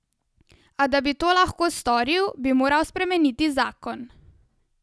A da bi to lahko storil, bi morali spremeniti zakon.